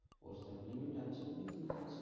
ওর supplement আছে অনেক জিনিস আছে